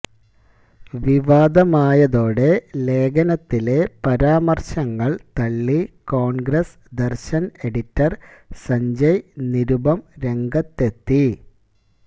വിവാദമായതോടെ ലേഖനത്തിലെ പരാമര്ശങ്ങള് തളളി കോണ്ഗ്രസ് ദര്ശന് എഡിറ്റര് സഞ്ജയ് നിരുപം രംഗത്തെത്തി